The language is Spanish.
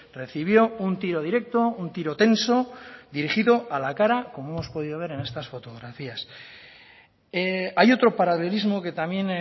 recibió un tiro directo un tiro tenso dirigido a la cara como hemos podido ver en estas fotografías hay otro paralelismo que también